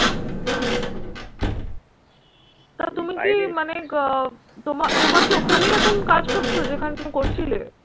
তো তুমি কি মানে গ তোমা তোমার কি ওখানেই এখন কাজ করছো যেখানে তুমি করছিলে?